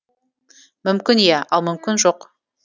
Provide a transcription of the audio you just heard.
мүмкін иә ал мүмкін жоқ